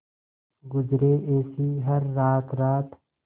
गुजरे ऐसी हर रात रात